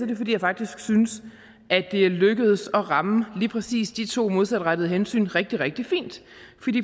det fordi jeg faktisk synes at det er lykkedes at ramme lige præcis de to modsatrettede hensyn rigtig rigtig fint